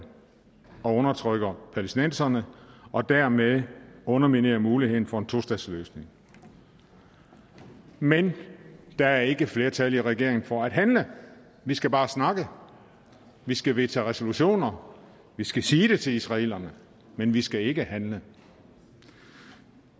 og undertrykker palæstinenserne og dermed underminerer mulighederne for en tostatsløsning men der er ikke flertal i regeringen for at handle vi skal bare snakke vi skal vedtage resolutioner vi skal sige det til israelerne men vi skal ikke handle